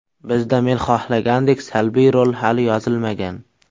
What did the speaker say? Bizda men xohlagandek salbiy rol hali yozilmagan.